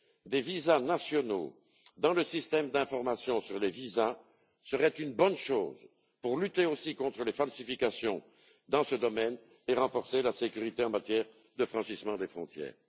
des visas nationaux dans le système d'information sur les visas serait une bonne chose aussi pour lutter contre les falsifications dans ce domaine et renforcer la sécurité en matière de franchissement des frontières.